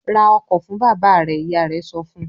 "Ra ọkọ̀ fún bàbá rẹ!" Ìyá rẹ̀ sọ fún un.